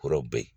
Kɔrɔbɔrɔ ye